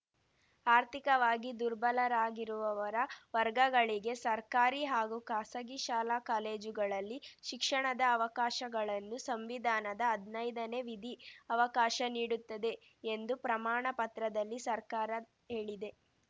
ಆರ್ಥಿಕವಾಗಿ ದುರ್ಬಲರಾಗಿರುವವರ ವರ್ಗಗಳಿಗೆ ಸರ್ಕಾರಿ ಹಾಗೂ ಖಾಸಗಿ ಶಾಲಾ ಕಾಲೇಜುಗಳಲ್ಲಿ ಶಿಕ್ಷಣದ ಅವಕಾಶಗಳನ್ನು ಸಂವಿಧಾನದ ಹದ್ನೈದನೇ ವಿಧಿ ಅವಕಾಶ ನೀಡುತ್ತದೆ ಎಂದೂ ಪ್ರಮಾಣ ಪತ್ರದಲ್ಲಿ ಸರ್ಕಾರ ಹೇಳಿದೆ